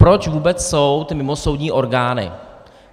Proč vůbec jsou ty mimosoudní orgány.